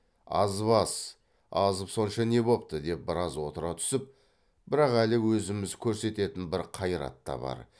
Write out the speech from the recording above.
азбас азып сонша не бопты деп біраз отыра түсіп бірақ әлі өзіміз көрсететін бір қайрат та бар